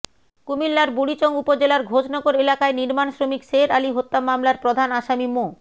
কুমিল্লার বুড়িচং উপজেলার ঘোষনগর এলাকায় নির্মাণশ্রমিক শের আলী হত্যা মামলার প্রধান আসামি মো